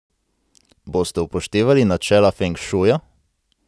Boste upoštevali načela feng šuja?